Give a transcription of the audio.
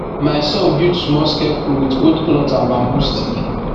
my son build small scarecrow with old cloth and bamboo stick